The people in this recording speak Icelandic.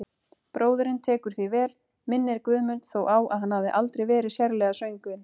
Bróðirinn tekur því vel, minnir Guðmund þó á að hann hafi aldrei verið sérlega söngvinn.